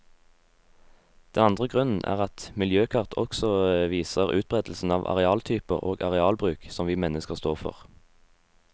Den andre grunnen er at miljøkart også viser utberedelsen av arealtyper og arealbruk som vi mennesker står for.